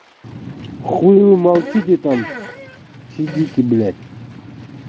хули молчите там сидите блять